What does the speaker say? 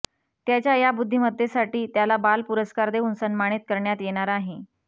त्याच्या या बुद्धिमतेसाठी त्याला बाल पुरस्कार देऊन सन्मानित करण्यात येणार आहे